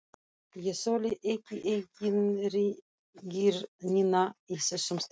Ég þoli ekki eigingirnina í þessum strákum.